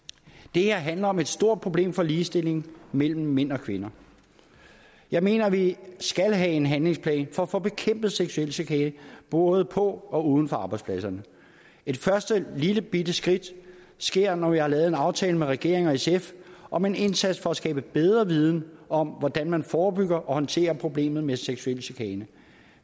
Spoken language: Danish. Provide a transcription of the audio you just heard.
det her handler om et stort problem for ligestillingen mellem mænd og kvinder jeg mener at vi skal have en handlingsplan for at få bekæmpet seksuel chikane både på og uden for arbejdspladserne et første lillebitte skridt sker når vi har lavet en aftale med regeringen og sf om en indsats for at skaffe bedre viden om hvordan man forebygger og håndterer problemet med seksuel chikane